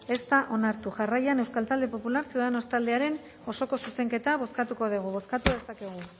ez da onartu jarraian euskal talde popular ciudadanos taldearen osoko zuzenketa bozkatuko dugu bozkatu dezakegu